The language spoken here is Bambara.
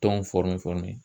Tɔn